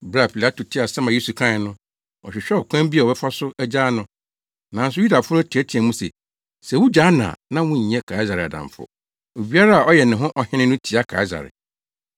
Bere a Pilato tee asɛm a Yesu kae no, ɔhwehwɛɛ ɔkwan bi a ɔbɛfa so agyaa no. Nanso Yudafo no teɛteɛɛ mu se, “Sɛ wugyaa no a na wonyɛ Kaesare adamfo! Obiara a ɔyɛ ne ho ɔhene no tia Kaesare!”